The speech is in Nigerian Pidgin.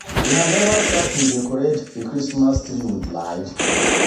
Una never start to dey decorate the Christmas tree with lights?